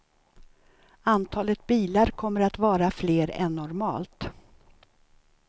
Antalet bilar kommer att vara fler än normalt.